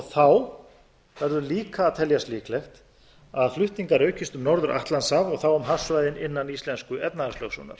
þá verður líka að teljast líklegt að flutningar aukist um norður atlantshaf og þá um hafsvæðin innan íslensku efnahagslögsögunnar